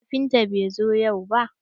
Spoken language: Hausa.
Kafinta bai zo yau ba.